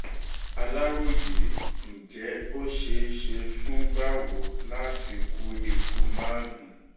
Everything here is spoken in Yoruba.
aláròye ǹjẹ́ ó ṣeé ṣe fún báwo láti kú ikú gúngun